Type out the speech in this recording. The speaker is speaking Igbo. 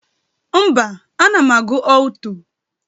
Mba, ana m agụ ọlto.